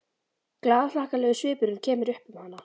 Glaðhlakkalegur svipurinn kemur upp um hana.